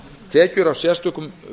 tekjur af sérstökum